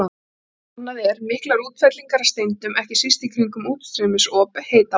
Annað er miklar útfellingar af steindum, ekki síst í kringum útstreymisop heita vatnsins.